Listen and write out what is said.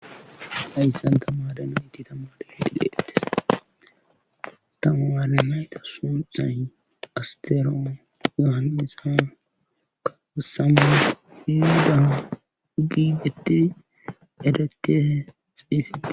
aiyssanta maadana itti tammade hidi deettis tama maade nayta sonxan asteroon gahanisana kaasama hiu gaha giibettin edektee xphise